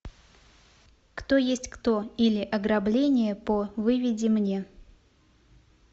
кто есть кто или ограбление по выведи мне